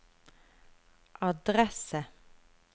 adresse